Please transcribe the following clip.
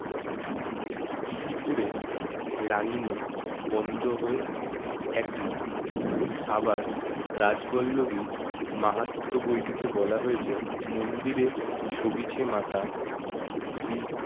ইতিপুরে রাঙ্গিনি বন্ধ হয়ে এক মন আবার রাজবল্লভী মাহাত্ম্য বই টিতে বলা হয়েছে মন্দিরে সুবিছে মাতা শ্রী